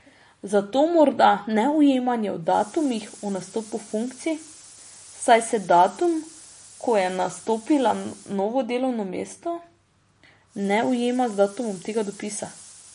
Zato morda neujemanja v datumih o nastopu funkcij, saj se datum, ko je nastopila novo delovno mesto, ne ujema z datumom tega dopisa.